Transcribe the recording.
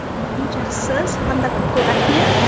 мхм жақсы саған да көп көп рахмет